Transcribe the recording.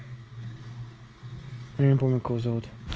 я не помню как его зовут